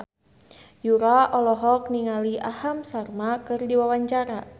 Yura olohok ningali Aham Sharma keur diwawancara